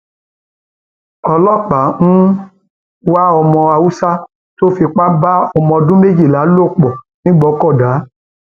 ọlọpàá ń wá ọmọ haúsá tó fipá tó fipá bá ọmọdọdún méjìlá lò pọ nìgbòkọdá